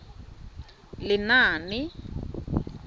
lenaane